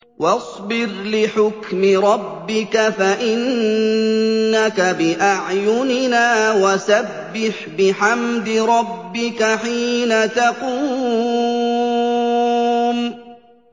وَاصْبِرْ لِحُكْمِ رَبِّكَ فَإِنَّكَ بِأَعْيُنِنَا ۖ وَسَبِّحْ بِحَمْدِ رَبِّكَ حِينَ تَقُومُ